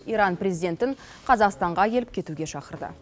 иран президентін қазақстанға келіп кетуге шақырды